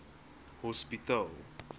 hospitaal